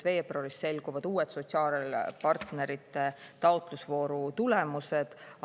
Veebruaris selguvad uued sotsiaalpartnerite taotlusvooru tulemused.